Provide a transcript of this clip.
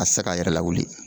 A se k'a yɛrɛ lawuli